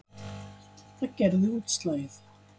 Það gerði útslagið.